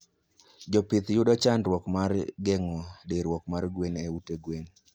Jopih yudo chandruok mar gengo diruok mar gwen e ute gwen